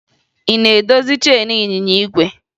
Ị na-edozi cheenu ịnyịnya igwe?